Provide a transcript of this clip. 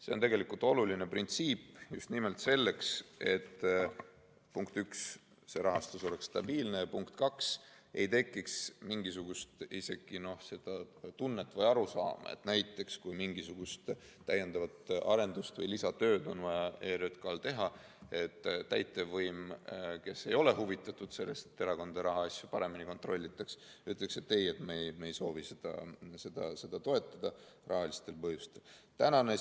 See on oluline printsiip just nimelt selleks, et esiteks oleks rahastus stabiilne ja teiseks ei tekiks isegi mingisugust tunnet või arusaama, et näiteks kui ERJK‑l on vaja mingisugust täiendavat arendust või lisatööd teha, siis täitevvõim, kes ei ole huvitatud sellest, et erakondade rahaasju paremini kontrollitaks, saaks öelda, et ei, me ei soovi seda rahalistel põhjustel toetada.